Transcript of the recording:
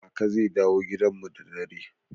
Kaka zai dawo gidan mu da dare.